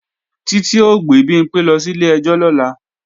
Títí ó gbé Bimpé lọ sílé ẹjọ́ lọ́la